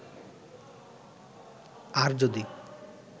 আর যদি